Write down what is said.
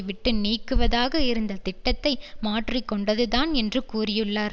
விட்டு நீங்குவதாக இருந்த திட்டத்தை மாற்றி கொண்டதுதான் என்று கூறியுள்ளார்